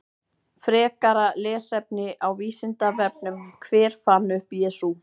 Frekara lesefni á Vísindavefnum: Hver fann upp Jesú?